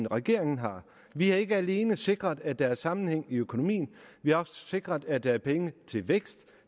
regeringen har vi har ikke alene sikret at der er sammenhæng i økonomien vi har også sikret at der er penge til vækst